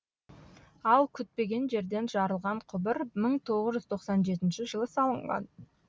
ал күтпеген жерден жарылған құбыр мың тоғыз жүз тоқсан жетінші жылы салынған